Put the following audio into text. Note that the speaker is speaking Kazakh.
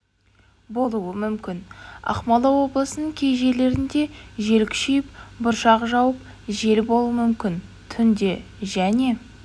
болуы мүмкін ақмола облысының кей жерлерінде жел күшейіп бұршақ жауып жел болуы мүмкін түнде және